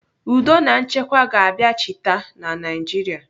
Udo na nchekwa ga-abiachịta na Naijiria.